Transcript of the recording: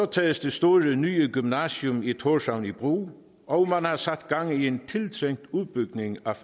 tages det store nye gymnasium i thorshavn i brug og man har sat gang i en tiltrængt udbygning